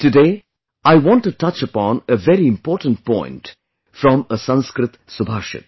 Today I want to touch upon a very important point from a Sanskrit Subhashit